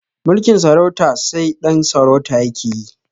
Mulkin sarauta sai ɗan sarauta yake yi